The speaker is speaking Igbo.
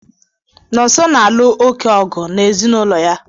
Nọnso na-alụ oké ọgụ n'ezinaụlọ ya.